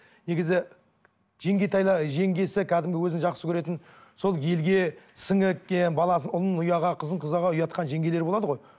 негізі жеңгесі кәдімгі өзін жақсы көретін сол елге сіңіп кеткен баласын ұлын ұяға қызын жеңгелер болады ғой